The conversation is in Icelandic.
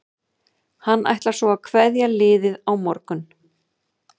Hann ætlar svo að kveðja liðið á morgun.